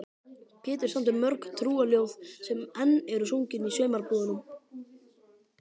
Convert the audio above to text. Pétur samdi mörg trúarljóð sem enn eru sungin í sumarbúðunum.